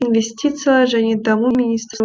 инвестициялар және даму министрі